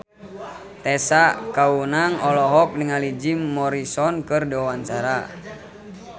Tessa Kaunang olohok ningali Jim Morrison keur diwawancara